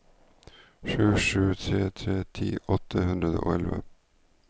sju sju tre tre ti åtte hundre og elleve